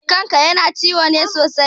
Kan ka yana ciwo ne sosai?